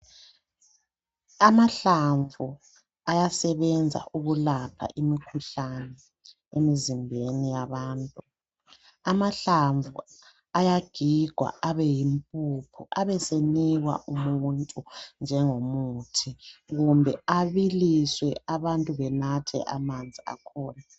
Amahlamvu ayasebenza ukulapha imikhuhlane emizimbeni yabantu amahlamvu ayagigwa abeyimpuphu abesenikwa umuntu njengomuthi kumbe abiliswe abantu benathe amanzi akhona.